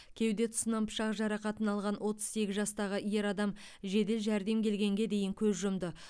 кеуде тұсынан пышақ жарақатын алған отыз сегіз жастағы ер адам жедел жәрдем келгенге дейін көз жұмды